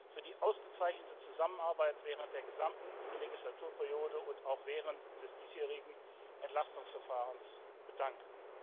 für die ausgezeichnete Zusammenarbeit während der gesamten Wahlperiode und auch während des diesjährigen Entlastungsverfahrens bedanken.